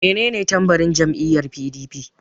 Menene tambarin jam'iyyar PDP?